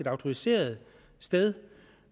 autoriseret sted